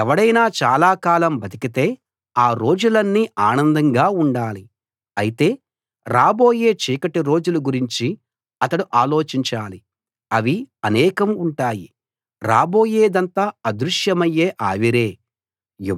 ఎవడైనా చాలా కాలం బతికితే ఆ రోజులన్నీ ఆనందంగా ఉండాలి అయితే రాబోయే చీకటి రోజుల గురించి అతడు ఆలోచించాలి అవి అనేకం ఉంటాయి రాబోయేదంతా అదృశ్యమయ్యే ఆవిరే